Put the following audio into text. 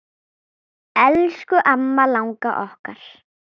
Elsku amma langa okkar.